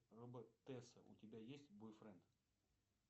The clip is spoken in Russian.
робот тесса у тебя есть бойфренд